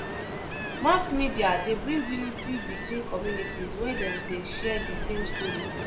Mass media de bring unity between communities when dem de share di same story